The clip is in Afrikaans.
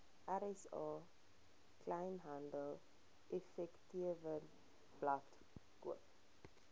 rsa kleinhandeleffektewebblad koop